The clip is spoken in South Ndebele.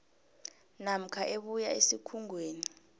namkha ebuya esikhungweni